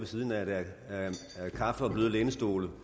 med kaffe og bløde lænestole